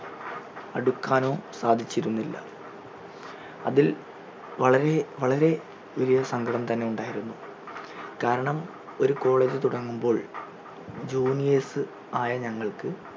എടുക്കാനോ സാധിച്ചിരുന്നില്ല അതിൽ വളരെ വളരെ വലിയ സങ്കടം തന്നെ ഉണ്ടായിരുന്നു കാരണം ഒരു college തുടങ്ങുമ്പോൾ juniors ആയ ഞങ്ങൾക്ക്